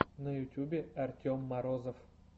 на ютубе артем морозов